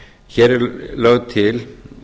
hér er lögð til